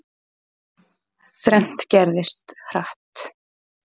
Þrennt gerðist, hratt.